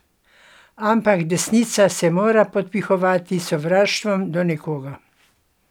Ampak desnica se mora podpihovati s sovraštvom do nekoga.